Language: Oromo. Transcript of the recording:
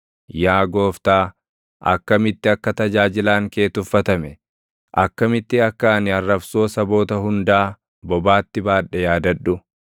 Yaa Gooftaa, akkamitti akka tajaajilaan kee tuffatame, akkamitti akka ani arrabsoo saboota hundaa // bobaatti baadhe yaadadhu;